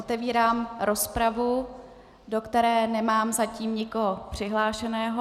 Otevírám rozpravu, do které nemám zatím nikoho přihlášeného.